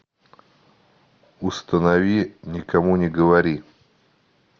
установи никому не говори